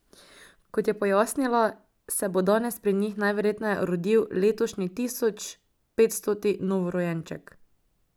Kot je pojasnila, se bo danes pri njih najverjetneje rodil letošnji tisoč petstoti novorojenček.